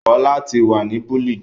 Kọ lati wa ni bullied!